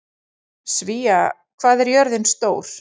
Svea, hvað er jörðin stór?